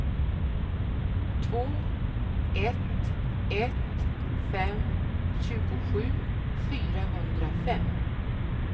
två ett ett fem tjugosju fyrahundrafem